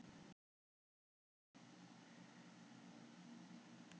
Hann á margt vantalað við